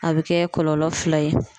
A bɛ kɛ kɔlɔlɔ fila ye.